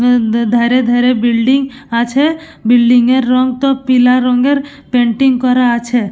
হুম ধরে ধরে বিল্ডিং আছে বিল্ডিং এর রং তো পিলা রঙের পেন্টিং করা আছে।